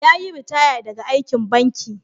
Ya yi ritaya daga aikin banki.